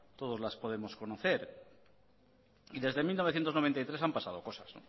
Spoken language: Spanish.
todos las podemos conocer y desde mil novecientos noventa y tres han pasado cosas